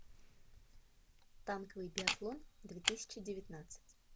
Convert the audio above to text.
танковый биатлон две тысячи девятнадцать